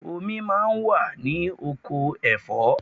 Omi máa ń wà ní oko ẹ̀fọ́.